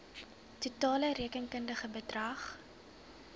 totale rekenkundige bedrag